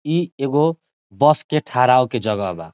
इ एगो बस के ठड़ा होय के जगह बा।